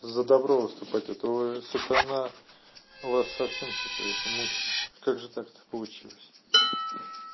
за добро выступать это сатана вас совсем что-то это мучить как же так получилось